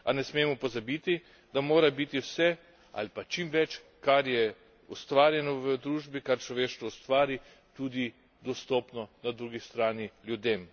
A ne smemo pozabiti, da mora biti vse, ali pa čim več, kar je ustvarjeno v družbi, kar človeštvo ustvari, tudi dostopno, na drugi strani, ljudem.